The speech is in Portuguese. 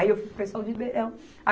Aí eu fui para o pessoal de Ribeirão.